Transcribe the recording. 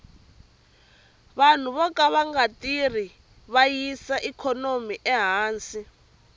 vanhu voka vanga tirhi va yisa ikhonomi ehansi